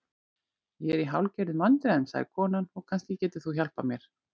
Ég er í hálfgerðum vandræðum, sagði konan, og kannski getur þú hjálpað mér.